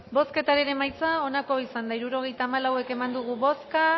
bozketaren emaitza onako izan da hirurogeita hamalau eman dugu bozka